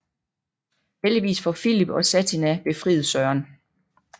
Heldigvis får Filip og Satina befriet Søren